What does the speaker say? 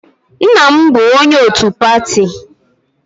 Nna m bụ onye otu pati